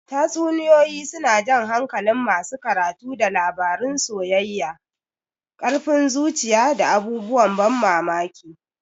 Tatsuniyoyi suna jan hankalin masu karatu da labarun soyayya, ƙarfin zuciya, da abubuwan ban mamaki.